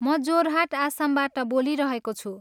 म जोरहाट, आसमबाट बोलिरहेको छु।